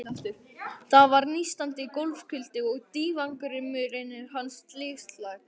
Þar var nístandi gólfkuldi og dívangarmurinn hans slysagildra.